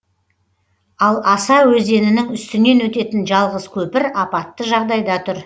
ал аса өзенінің үстінен өтетін жалғыз көпір апатты жағдайда тұр